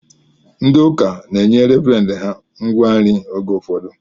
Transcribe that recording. Ndị ụka na-enye revren ha ngwa nri oge ụfọdụ